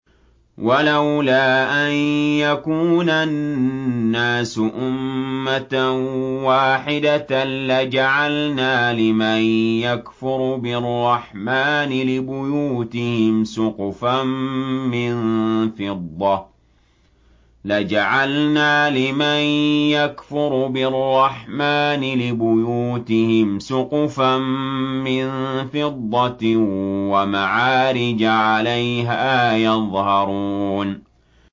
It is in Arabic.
وَلَوْلَا أَن يَكُونَ النَّاسُ أُمَّةً وَاحِدَةً لَّجَعَلْنَا لِمَن يَكْفُرُ بِالرَّحْمَٰنِ لِبُيُوتِهِمْ سُقُفًا مِّن فِضَّةٍ وَمَعَارِجَ عَلَيْهَا يَظْهَرُونَ